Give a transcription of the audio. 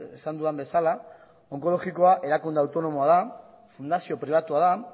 esan dudan bezala onkologikoa erakunde autonomoa da fundazio pribatua da